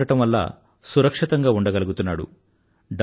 డబ్బు ఉండటం వల్ల సురక్షితంగా ఉండగలుగుతున్నాడు